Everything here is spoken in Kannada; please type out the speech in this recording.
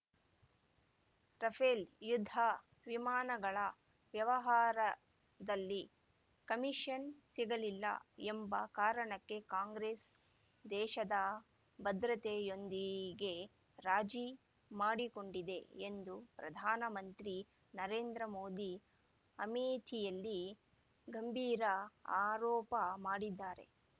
ರಫೇಲ್ ಯುದ್ಧ ವಿಮಾನಗಳ ವ್ಯವಹಾರದಲ್ಲಿ ಕಮಿಷನ್ ಸಿಗಲಿಲ್ಲ ಎಂಬ ಕಾರಣಕ್ಕೆ ಕಾಂಗ್ರೆಸ್ ದೇಶದ ಭದ್ರತೆಯೊಂದಿಗೆ ರಾಜಿ ಮಾಡಿಕೊಂಡಿದೆ ಎಂದು ಪ್ರಧಾನ ಮಂತ್ರಿ ನರೇಂದ್ರ ಮೋದಿ ಅಮೇಥಿಯಲ್ಲಿ ಗಂಭೀರ ಆರೋಪ ಮಾಡಿದ್ದಾರೆ